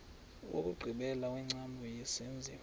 wokugqibela wengcambu yesenziwa